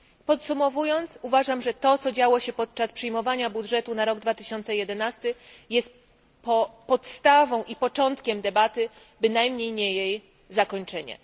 Podsumowując, uważam, że to, co działo się podczas przyjmowania budżetu na rok 2011 jest podstawą i początkiem debaty, bynajmniej nie jej zakończeniem.